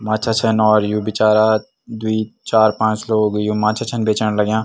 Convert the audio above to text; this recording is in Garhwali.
माछा छन और यु बिचारा द्वि चार पांच लोग यु माछा छन बेचण लग्याँ।